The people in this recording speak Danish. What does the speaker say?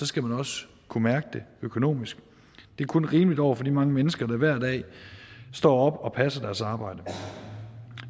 skal man også kunne mærke det økonomisk det er kun rimeligt over for de mange mennesker der hver dag står op og passer deres arbejde